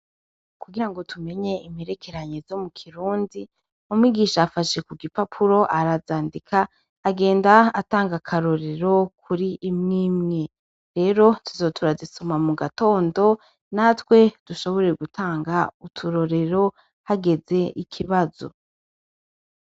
Kugira ngo tumenye imperekeranye zo mu kirundi mumwigisha afashe ku gipapuro arazandika agenda atanga akarorero kuri imw imwe rero tuzotura azisuma mu gatondo natwe dushobore gutanga uturorero hageze ikibazo.